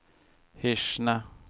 Hyssna